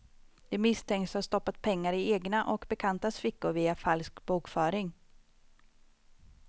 De misstänks ha stoppat pengar i egna och bekantas fickor via falsk bokföring.